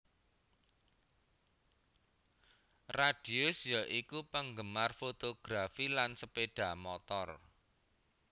Radius ya iku penggemar fotografi lan sepeda motor